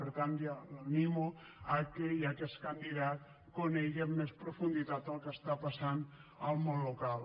per tant l’animo que ja que és candidat conegui amb més profunditat el que està passant al món local